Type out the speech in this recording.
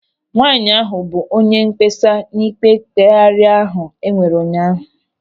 Nwaanyị ahụ bụ onye mkpesa n'ikpe mkpeghari ahụ enwere ụnyaahụ.